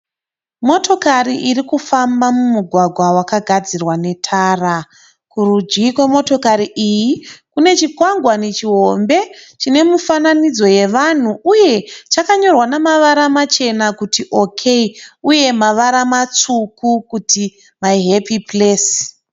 Motokari irikufamba mumugwagwa wakagadzirwa netara. Kurudyi kwemotokari iyi kune chikwangwani chihombe chine mifananidzo yevanhu uye chakanyorwa nemavara machena kuti "OK" uye mavara matsvuku kuti "my happy place".